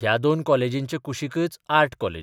ह्या दोन कॉलेजींचे कुशीकच आर्ट कॉलेज.